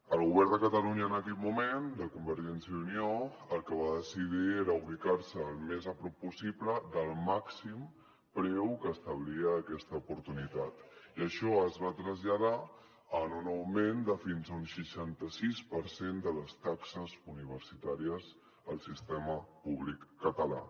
el govern de catalunya d’aquell moment de convergència i unió el que va decidir era ubicar se el més a prop possible del màxim preu que establia aquesta oportunitat i això es va traslladar en un augment de fins a un seixanta sis per cent de les taxes universitàries al sistema públic català